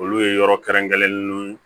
Olu ye yɔrɔ kɛrɛnkɛrɛnlen nunnu